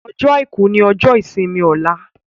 Ọjọ́ aìkú ní ojó ìsimi Ola